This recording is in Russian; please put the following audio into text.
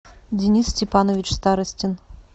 денис степанович старостин